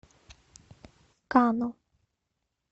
кано